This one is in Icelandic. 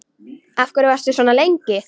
Af hverju varstu svona lengi?